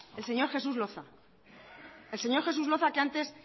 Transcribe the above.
el señor jesús loza el señor jesús loza que antes